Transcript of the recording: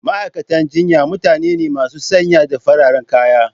Ma'aikatan jinya mutane ne masu sanye da fararen kaya.